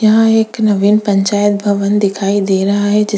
यहाँ एक नवीन पंचायत भवन दिखाई दे रहा है जे--